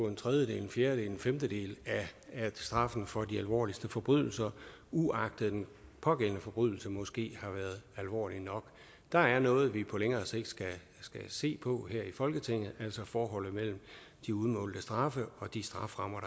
en tredjedel en fjerdedel eller en femtedel af straffen for de alvorligste forbrydelser uagtet at den pågældende forbrydelse måske har været alvorlig nok der er noget vi på længere sigt skal se på her i folketinget altså forholdet mellem de udmålte straffe og de strafferammer